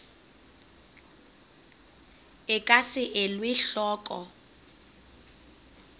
e ka se elwe hloko